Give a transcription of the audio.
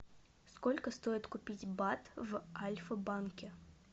сколько стоит купить бат в альфа банке